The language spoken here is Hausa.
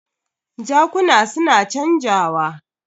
Jakuna su na canjawa.